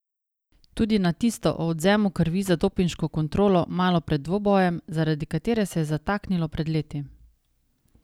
Tudi na tisto o odvzemu krvi za dopinško kontrolo malo pred dvobojem, zaradi katere se je zataknilo pred leti.